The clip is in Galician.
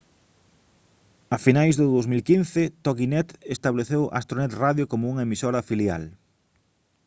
a finais do 2015 toginet estableceu astronet radio como unha emisora filial